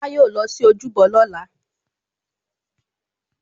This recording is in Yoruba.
Olá yóò lọ sí ojúbọ lóla